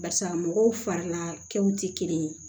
Barisa mɔgɔw farilakɛw tɛ kelen ye